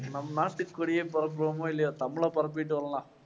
நம் நாட்டு கொடியை இல்லையோ தமிழை பரப்பிட்டு வரலாம்